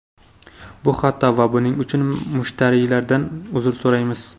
Bu xato va buning uchun mushtariylardan uzr so‘raymiz.